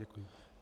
Děkuji.